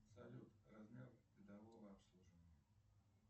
салют размер годового обслуживания